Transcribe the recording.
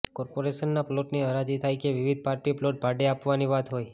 કોર્પોરેશનના પ્લોટની હરાજી હોય કે વિવિધ પાર્ટી પ્લોટ ભાડે આપવાની વાત હોય